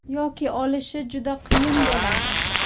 Yoki olishi juda qiyin bo‘ladi.